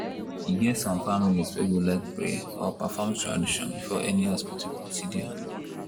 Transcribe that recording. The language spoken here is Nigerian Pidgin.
e get some families wey go like pray or perform tradition before any hospital procedure.